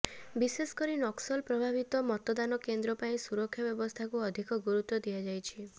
ବିଶେଷ କରି ନକ୍ସଲ ପ୍ରଭାବିତ ମତଦାନ କେନ୍ଦ୍ର ପାଇଁ ସୁରକ୍ଷା ବ୍ୟବସ୍ଥାକୁ ଅଧିକ ଗୁରୁତ୍ୱ ଦିଆଯାଇଛି